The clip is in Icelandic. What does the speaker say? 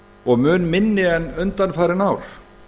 og mun minni en undanfarin ár